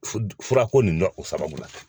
Fu fura ko nin nɔ o sababu la